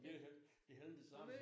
Det var hele det havde det samme